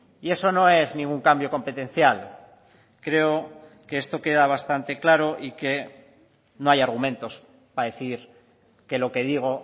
y eso no es ningún cambio competencial creo que esto queda bastante claro y que no hay argumentos para decir que lo que digo